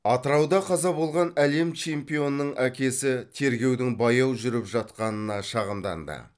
атырауда қаза болған әлем чемпионының әкесі тергеудің баяу жүріп жатқанына шағымданды